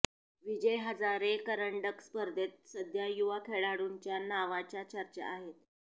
विजय हजारे करंडक स्पर्धेत सध्या युवा खेळाडूंच्या नावाच्या चर्चा आहेत